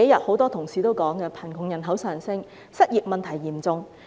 很多同事這幾天也提到，貧窮人口上升，失業問題嚴重。